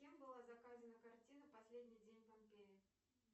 кем была заказана картина последний день помпеи